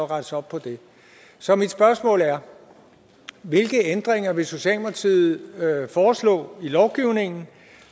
rettes op på det så mit spørgsmål er hvilke ændringer vil socialdemokratiet foreslå i lovgivningen